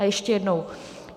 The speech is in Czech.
A ještě jednou.